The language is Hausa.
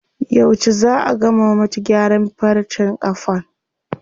Yauce zaa a gama mata gyaran farcen ƙafan?